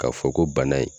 K'a fɔ ko bana in